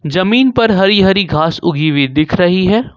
जमीन पर हरी हरी घास उगी हुई दिख रही है।